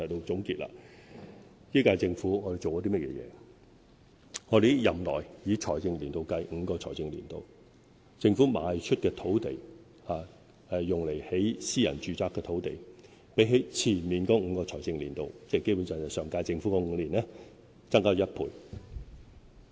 在這一屆政府的任期內，以5個財政年度計算，政府賣出用來興建私人住宅樓宇的土地，較前5個財政年度——基本上是上屆政府的5年——增加了1倍。